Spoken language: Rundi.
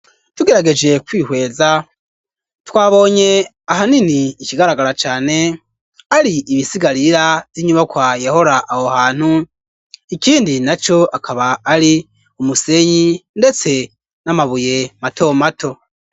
Tugerageje kwihweza twabonye ahanini ikigaragara cane ari ibisigarira vy'inyubakwa yehora aho hantu ikindi naco akaba ari umusenyi ndetse n'amabuye mato mato.